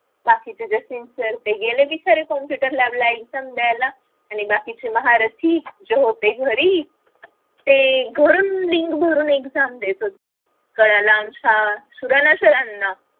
बाकीचे जे sincere ते गेले computer lab ला exam द्यायला आणि बाकीचे महारथी झोपले घरी ते घरून link भरून exam देत होते कळालं आमच्या सरांना